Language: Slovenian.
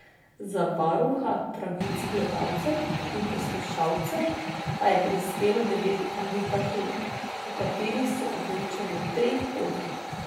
Za varuha pravic gledalcev in poslušalcev pa je prispelo devet kandidatur, o katerih so odločali v treh krogih.